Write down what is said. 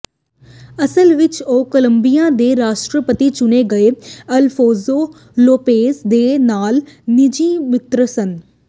ਅਸਲ ਵਿਚ ਉਹ ਕੋਲੰਬੀਆ ਦੇ ਰਾਸ਼ਟਰਪਤੀ ਚੁਣੇ ਗਏ ਅਲਫੋਂਸੋ ਲੋਪੇਜ਼ ਦੇ ਨਾਲ ਨਿੱਜੀ ਮਿੱਤਰ ਸਨ